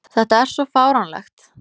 Þetta er svo fáránlegt.